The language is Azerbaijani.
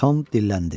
Tam dilləndi.